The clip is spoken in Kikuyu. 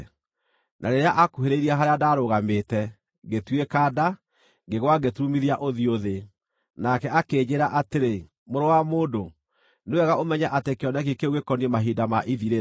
Na rĩrĩa aakuhĩrĩirie harĩa ndarũgamĩte, ngĩtuĩka nda, ngĩgwa ngĩturumithia ũthiũ thĩ. Nake akĩnjĩĩra atĩrĩ: “Mũrũ wa mũndũ, nĩ wega ũmenye atĩ kĩoneki kĩu gĩkoniĩ mahinda ma ithirĩro.”